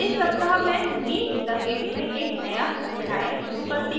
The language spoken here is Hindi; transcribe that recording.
इस सप्ताह मैं meet the gimp में एक नया अध्याय शुरू करती हूँ